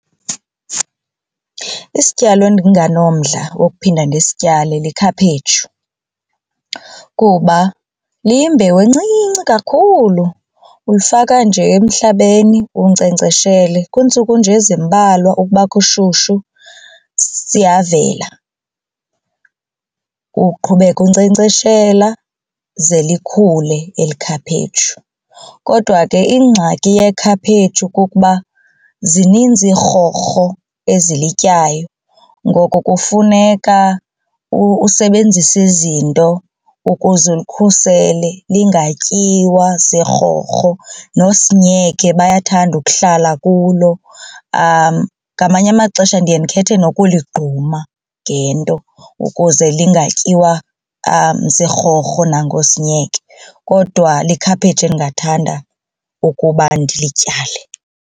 Isityalo endinganomdla wokuphinda ndisityale likhaphetshu kuba liyimbewu encinci kakhulu ulifaka nje emhlabeni unkcenkceshele kwiintsuku nje ezimbalwa ukuba kushushu siyavela uqhubeka unkcenkceshela ze likhule eli khaphetshu. Kodwa ke ingxaki yekhaphetshu kukuba zininzi iirhorho ezilityayo ngoko kufuneka usebenzise izinto ukuze ulikhusele zingatyiwa ziirhorho noosinyeke bayathanda ukuhlala kulo. Ngamanye amaxesha ndiye ndikhethe nokuligquma ngento ukuze lingatyiwa ziirhorho nangoosinyeke kodwa likhaphetshu endingathanda ukuba ndilityale.